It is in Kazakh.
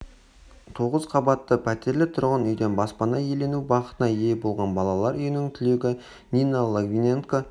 тоғыз қабатты пәтерлі тұрғын үйден баспана иелену бақытына ие болған балалар үйінің түлегі нина логвиненко